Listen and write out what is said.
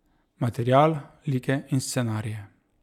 Material, like in scenarije.